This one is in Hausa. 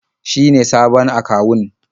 Shi ne sabon akawun.